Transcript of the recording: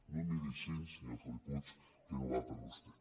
no em miri així senyor felip puig que no va per vostè